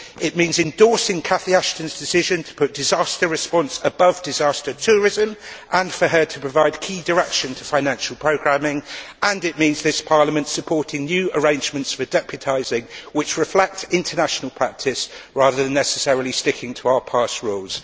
it means endorsing Cathy Ashton's decision to put disaster response above disaster tourism and for her to provide key direction to financial programming and it means this Parliament supporting new arrangements with deputising which reflect international practice rather than necessarily sticking to our past rules.